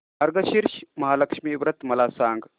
मार्गशीर्ष महालक्ष्मी व्रत मला सांग